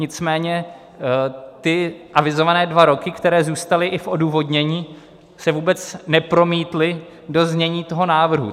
Nicméně ty avizované dva roky, které zůstaly i v odůvodnění, se vůbec nepromítly do znění toho návrhu.